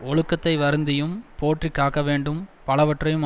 ஒழுக்கத்தை வருந்தியும் போற்றி காக்க வேண்டும் பலவற்றையும்